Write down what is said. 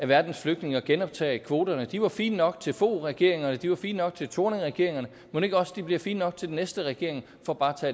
verdens flygtninge og genoptage kvoterne de var fine nok til foghregeringerne og de var fine nok til thorningregeringerne mon ikke også de bliver fine nok til den næste regering for bare